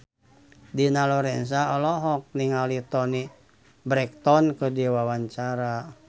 Dina Lorenza olohok ningali Toni Brexton keur diwawancara